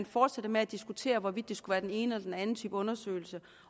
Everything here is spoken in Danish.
fortsætter med at diskutere hvorvidt det skulle være den ene eller den anden type undersøgelse